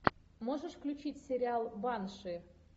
можешь включить сериал банши